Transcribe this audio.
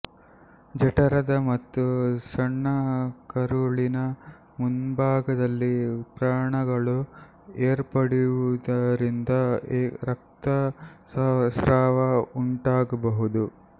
ಜಠರದ ಮತ್ತು ಸಣ್ಣಕರುಳಿನ ಮುಂಭಾಗದಲ್ಲಿ ವ್ರಣಗಳು ಏರ್ಪಡುವುದರಿಂದ ರಕ್ತಸ್ರಾವ ಉಂಟಾಗಬಹುದು